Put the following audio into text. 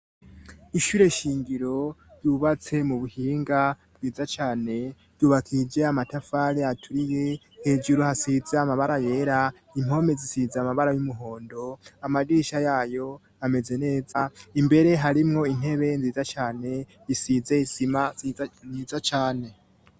Ishyure shingiro ryubatse mu buhinga bwiza cane, ryubakije amatafari aturiye hejuru hasize amabara yera, impome zisize amabara y'umuhondo amadirisha yayo ameze neza; imbere harimwo intebe nziza cane isize isima niza cane.